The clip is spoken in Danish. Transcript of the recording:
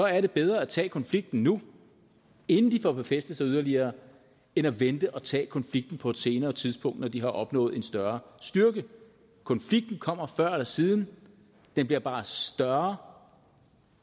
er det bedre at tage konflikten nu inden de får befæstet sig yderligere end at vente og tage konflikten på et senere tidspunkt når de har opnået en større styrke konflikten kommer før eller siden den bliver bare større